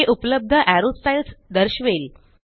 हे उपलब्ध arrow styles दर्शवेल